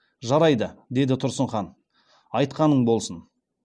жарайды деді тұрсын хан айтқаның болсын